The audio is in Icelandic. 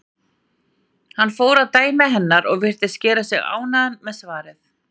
Hann fór að dæmi hennar og virtist gera sig ánægðan með svarið.